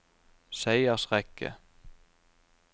seiersrekke